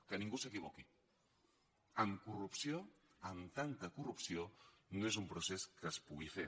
que ningú s’equivoqui amb corrupció amb tanta corrupció no és un procés que es pugui fer